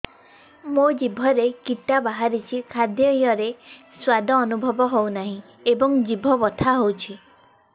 ମୋ ଜିଭରେ କିଟା ବାହାରିଛି ଖାଦ୍ଯୟରେ ସ୍ୱାଦ ଅନୁଭବ ହଉନାହିଁ ଏବଂ ଜିଭ ବଥା ହଉଛି